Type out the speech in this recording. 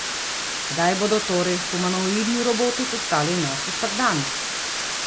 Kdaj bodo torej humanoidni roboti postali naš vsakdan?